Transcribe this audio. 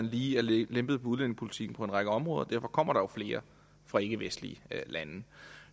lige er lempet på udlændingepolitikken på en række områder og derfor kommer der flere fra ikkevestlige lande